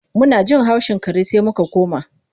Muna jin haushin kare sai muka koma.